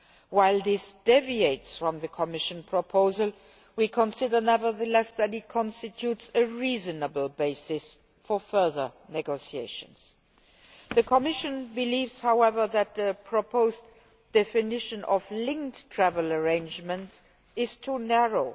While this deviates from the Commission proposal, we nonetheless consider that it constitutes a reasonable basis for further negotiations. The Commission believes, however, that the proposed definition of linked travel arrangements is too narrow.